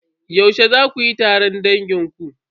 Yaushe za kuyi taron dangin ku?